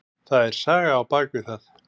Það er saga á bak við það.